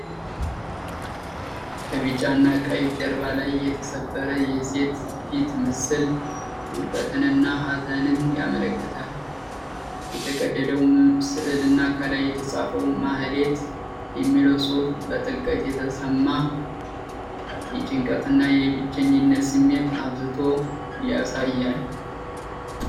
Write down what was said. ከቢጫና ቀይ ጀርባ ላይ የተሰበረ የሴት ፊት ምስል ውድቀትንና ሀዘንን ያመለክታል። የተቀደደው ሥዕልና ከላይ የተጻፈው “ማህሌት” የሚለው ጽሑፍ በጥልቀት የተሰማ የጭንቀትና የብቸኝነት ስሜት አብዝቶ ያሳያል።